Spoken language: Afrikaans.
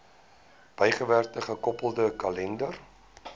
bygewerkte gekoppelde kalender